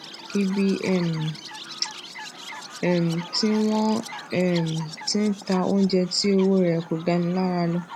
ibi um um tí wón um ti ń ta oúnjẹ tí owó rè kò gani lára la lọ